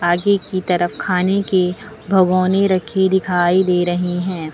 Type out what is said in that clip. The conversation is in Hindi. आगे की तरफ खाने के भगौने रखी दिखाई दे रही हैं।